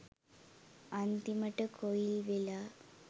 අන්තිමටම coil වෙලා.